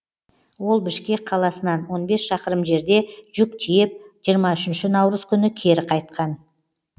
ол бішкек қаласынан он бес шақырым жерде жүк тиеп жиырма үшінші наурыз күні кері қайтқан